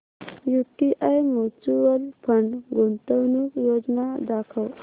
UTI mutual fund गुंतवणूक योजना दाखव